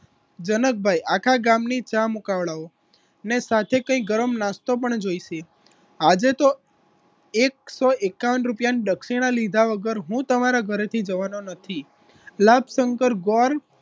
જનકભાઈ આખા ગામની ચા મુકાવડાવો ને સાથે કંઈક ગરમ નાસ્તો પણ જોઈશે આજે તો એક સો એકાવન રૂપીયા ને દક્ષિણા લીધા વગર હું તમારા ઘરેથી જવાનો નથી